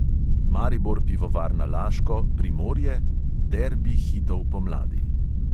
Maribor pivovarna laško – primorje: derbi hitov pomladi.